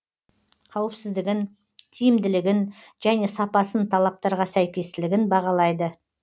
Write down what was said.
қауіпсіздігін тиімділігін және сапасын талаптарға сәйкестілігін бағалайды